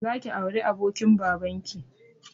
Zaki auri abokin babanki